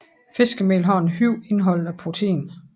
Fiskemel har et højt indhold af protein